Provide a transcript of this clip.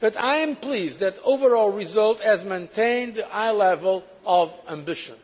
but I am pleased that the overall result has maintained the high level of ambition.